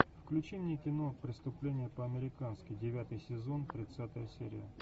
включи мне кино преступление по американски девятый сезон тридцатая серия